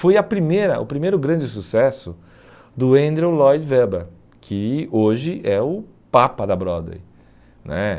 Foi a primeira o primeiro grande sucesso do Andrew Lloyd Webber, que hoje é o Papa da Broadway né.